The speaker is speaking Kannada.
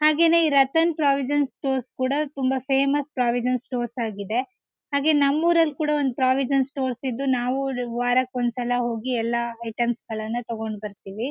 ಹಾಗೇನೇ ಈ ರತನ್ ಪ್ರಾವಿಜನ್ ಸ್ಟೋರ್ ಕೂಡ ತುಂಬಾ ಫೇಮಸ್ ಪ್ರಾವಿಜನ್ ಸ್ಟೋರ್ ಆಗಿದೆ ಹಾಗೆ ನಮ್ ಊರ್ನಲ್ ಕೂಡ ಒಂದ್ ಪ್ರಾವಿಜನ್ ಸ್ಟೋರ್ಸ್ ಇದ್ದು ನಾವು ವಾರಕ್ಕೆ ಒಂದ್ ಸಲ ಹೋಗಿ ಎಲ್ಲ ಐಟಮ್ಸ್ ಗಳನ್ನ ತಗೊಂಡು ಬರ್ತೀವಿ.